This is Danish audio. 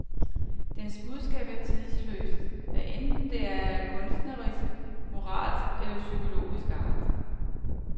Dens budskab er tidløst, hvad enten det er af kunstnerisk, moralsk eller psykologisk art.